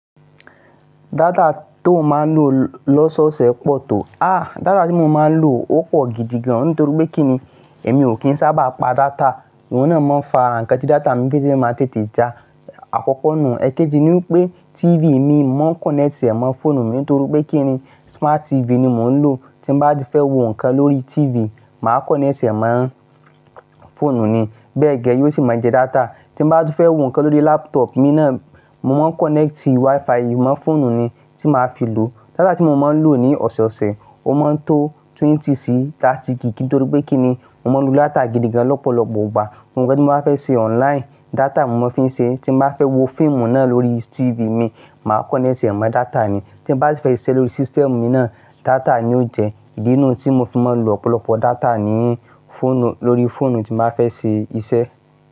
Data tó n máa ń lò lọ́sọ̀ọ̀sẹ̀ pọ̀ tó, ah data tí mo máa ń lò ó pọ̀ gidigan nítorí pé kí ni èmi ò kí ń sábà pa data. Wọ́n náà máa ń fa ǹkan tí data mi fẹ́é máa ń tètè já. Àkọ́kọ́ nù, èkéjì ni pé TV mi mo máa ń connect ẹ̀ mọ́ fóònù mi nítorí pé kí ni smart TV ni mò ń lò. Tí mo bá ti fẹ́ wo ǹkan lórí TV, màá connect ẹ̀mọ́ fóònù ni. Bẹ́ẹ̀ gẹ́gẹ́, yóò sì máa jẹ data. Tí mo bá ti fẹ́ wo ǹkan lórí laptop mi náà, mo máa ń connecti WiFi mọ́ fóònù mi tí màá fi lò. Data tí mo máa ń lò ní ọ̀sọ̀ọ̀sẹ̀, ó máa ń tó 20 si 30 gig nítorí pé kí ni mo máa ń lo data gidigan lọ́pọ̀lọpọ̀ wá. Ohun gbogbo tí mo bá fẹ́ ṣe online, data ni mo fi ń ṣe é. Tí mo bá fẹ́ wo fíìmù náà lórí TV mi, màá connect ẹ̀mọ́ data ni. Tín ba si fẹ́ ṣiṣẹ́ lórí system mi náà, data ni ó jẹ. Ìdí nu tí mo fi máa ń lo ọ̀pọ̀lọpọ̀ data ni lóri fóònù tí màá fẹ́ ṣe iṣẹ́.